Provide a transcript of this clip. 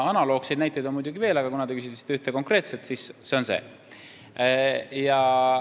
Analoogseid näiteid on muidugi veel, aga kuna te küsisite ühte konkreetset näidet, siis see on see.